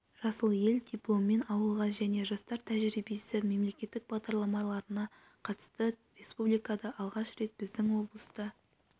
жасыл ел дипломмен ауылға және жастар тәжірибесі мемлекеттік бағдарламаларына қатысты республикада алғаш рет біздің облыста